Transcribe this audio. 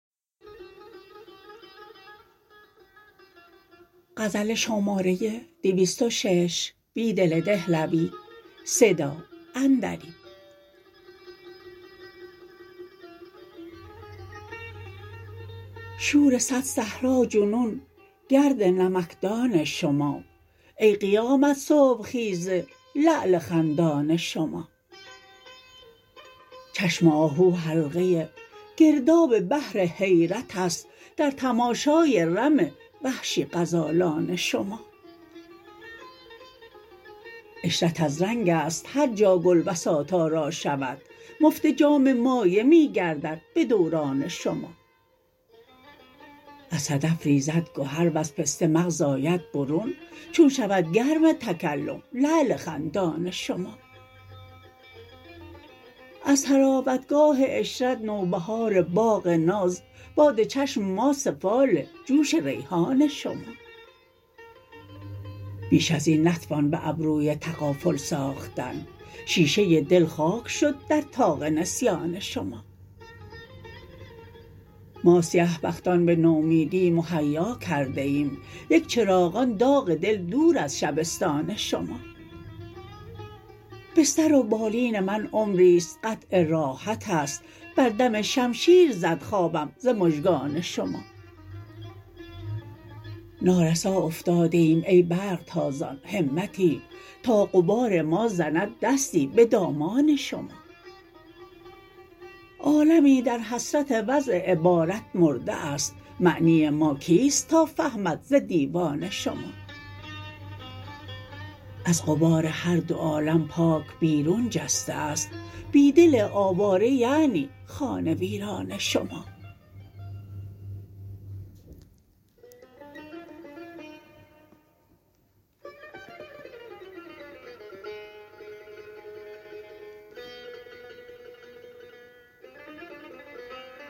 شور صد صحرا جنون گرد نمکدان شما ای قیامت صبح خیز لعل خندان شما چشم آهو حلقه گرداب بحر حیرت است در تماشای رم وحشی غزالان شما عشرت از رنگ است هرجا گل بساط آرا شود مفت جام مایه می گردد به دوران شما از صدف ریزد گهر وز پسته مغز آید برون چون شود گرم تکلم لعل خندان شما از طراوتگاه عشرت نوبهار باغ ناز باد چشم ما سفال جوش ریحان شما بیش ازین نتوان به ابروی تغافل ساختن شیشه دل خاک شد در طاق نسیان شما ما سیه بختان به نومیدی مهیا کرده ایم یک چراغان داغ دل دور از شبستان شما بستر و بالین من عمریست قطع راحت است بر دم شمشیر زد خوابم ز مژگان شما نارسا افتاده ایم ای برق تازان همتی تا غبار ما زند دستی به دامان شما عالمی در حسرت وضع عبارت مرده است معنی ما کیست تا فهمد ز دیوان شما از غبار هر دو عالم پاک بیرون جسته است بیدل آواره یعنی خانه ویران شما